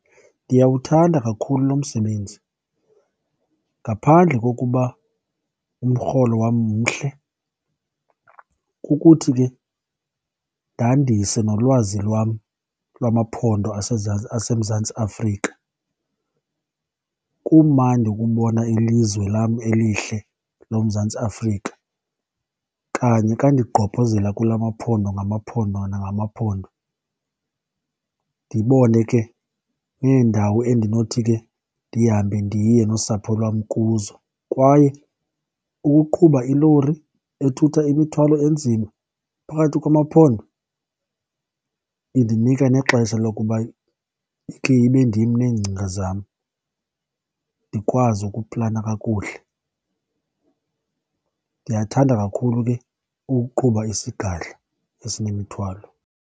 Ndiyawuthanda kakhulu lo msebenzi, ngaphandle kokuba umrholo wam mhle kukuthi ke ndandise nolwazi lwam lwamaphondo aseMzantsi Afrika. Kumandi ukubona ilizwe lam elihle loMzantsi Afrika kanye ka ndigqobhozela kula maphondo ngamaphondo nangamaphondo, ndibone ke neendawo endinothi ke ndihambe ndiye nosapho lwam kuzo. Kwaye ukuqhuba ilori ethutha imithwalo enzima phakathi kwamaphodo indinika nexesha lokuba ikhe ibendim neengcinga zam, ndikwazi ukuplana kakuhle. Ndiyathanda kakhulu ke ukuqhuba isigadla esinemithwalo.